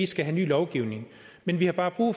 skal have ny lovgivning men vi har bare brug